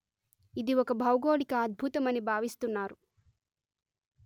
ఇది ఒక భౌగోళిక అద్భుతమని భావిస్తున్నారు